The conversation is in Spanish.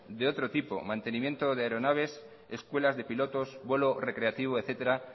de otro tipo mantenimiento de aeronaves escuelas de pilotos vuelo recreativo etcétera